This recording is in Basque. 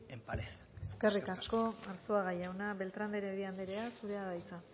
en pared eskerrik asko eskerrik asko arzuaga jauna beltran de heredia andrea zurea da hitza